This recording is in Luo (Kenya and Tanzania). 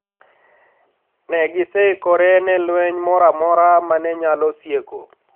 Ne giseikore ne lweny moro amora ma ne nyalo sieko